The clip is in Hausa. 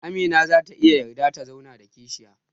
Amina zata iya yarda ta zauna da kishiya